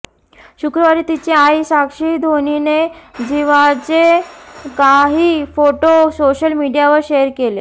शुक्रवारी तिची आई साक्षी धोनीने झिवाचे काही फोटो सोशल मीडियावर शेअर केले